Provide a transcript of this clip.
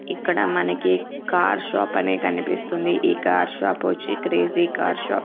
ఇక్కడ మనకి car shop అనే కనిపిస్తుంది ఈ కార్ షాప్ వచ్చి క్రేజీ కార్ షాప్ .